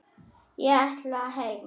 Ég ætla heim!